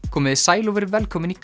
komiði sæl og verið velkomin í